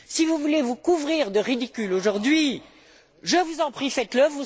Si vous voulez vous couvrir de ridicule aujourd'hui, je vous en prie, faites le.